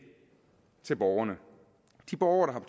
til borgerne de borgere